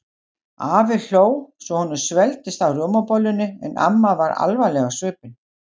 Afi hló svo honum svelgdist á rjómabollunni en amma var alvarleg á svipinn.